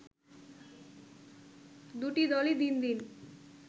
দুটি দলই দিন দিন